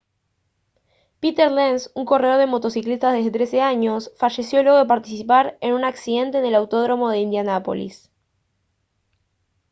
peter lenz un corredor de motocicletas de 13 años falleció luego de participar en un accidente en el autódromo de indianápolis